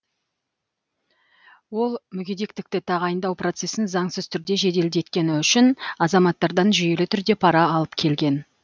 ол мүгедектікті тағайындау процесін заңсыз түрде жеделдеткені үшін азаматтардан жүйелі түрде пара алып келген